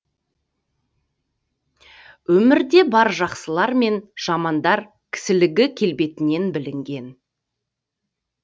өмірде бар жақсылар мен жамандаркісілігі келбетінен білінген